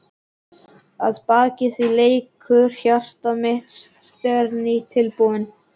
Að baki því leikur hjarta mitt á sneriltrommu.